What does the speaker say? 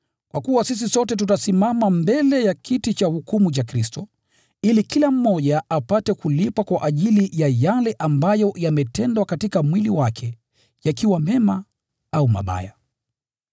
Kwa kuwa sisi sote tutasimama mbele ya kiti cha hukumu cha Kristo, ili kila mmoja apate kulipwa kwa ajili ya yale ambayo yametendwa katika mwili wake, yakiwa mema au mabaya.